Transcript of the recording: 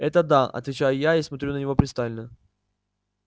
это да отвечаю я и смотрю на него пристально